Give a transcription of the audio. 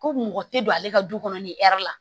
Ko mɔgɔ tɛ don ale ka du kɔnɔ ni la